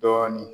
Dɔɔnin